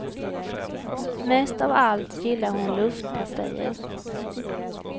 Mest av allt gillar hon luftpastejer.